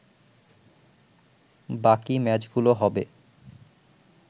বাকি ম্যাচগুলো হবে